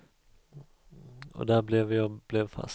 Och där blev jag blev fast.